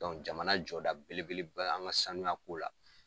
jamana jɔ da belebele bɛ an ga sanuya ko la.